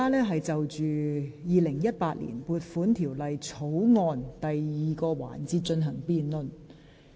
本會現在是就《2018年撥款條例草案》進行第二個環節的辯論。